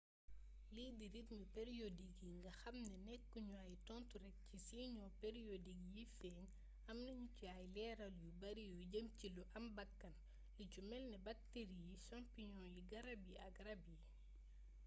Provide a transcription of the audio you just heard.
lii di rythme periodik yi yi nga xamni nekku ñu ay tontu rek ci siñoo periodik yiy feeñ amna ñu ci ay leeral yu bari yu jëm ci lu am bakkan lu ci melni bakteri yi champignon yi garab yi ak rab yi